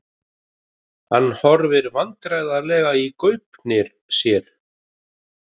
Hann horfir vandræðalega í gaupnir sér.